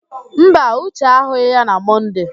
Mba, Uche ahụghị ya na Mọnde.